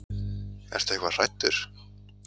Ertu eitthvað hræddur?